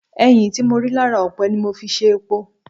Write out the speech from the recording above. Ẹ̀yìn tí mo rí lára ọ̀pẹ ni mo fi ṣe epo.